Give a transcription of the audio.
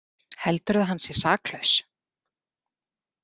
Heldurðu að hann sé saklaus?